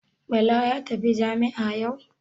Bala ya tafi jami'a yau?